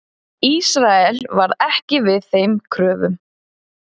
Ísrael varð ekki við þeim kröfum.